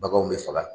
Baganw bɛ faga